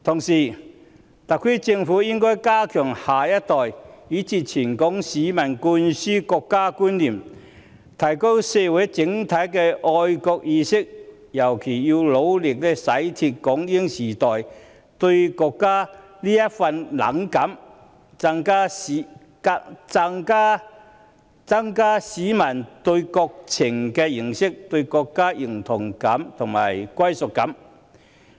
此外，特區政府應加強向下一代以至全港市民灌輸國家觀念，提高社會整體的愛國意識，尤其是要努力洗脫港英時代對國家的冷感，增加市民對國情的認識，以及對國家的認同感和歸屬感。